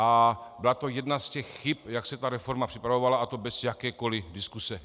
A byla to jedna z těch chyb, jak se ta reforma připravovala, a to bez jakékoli diskuse.